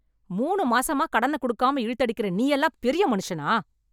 மூணு மாசமா கடன குடுக்காம இழுத்துஅடிக்கற நீயெல்லாம் பெரிய மனுஷனா